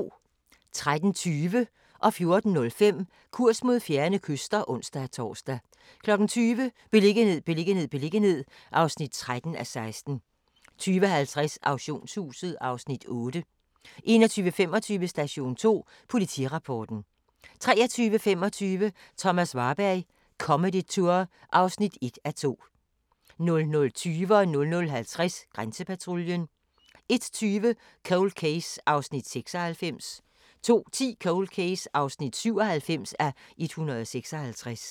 13:20: Kurs mod fjerne kyster (ons-tor) 14:05: Kurs mod fjerne kyster (ons-tor) 20:00: Beliggenhed, beliggenhed, beliggenhed (13:16) 20:50: Auktionshuset (Afs. 8) 21:25: Station 2: Politirapporten 23:25: Thomas Warberg – Comedy Tour (1:2) 00:20: Grænsepatruljen 00:50: Grænsepatruljen 01:20: Cold Case (96:156) 02:10: Cold Case (97:156)